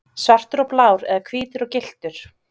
Svartur og blár eða hvítur og gylltur?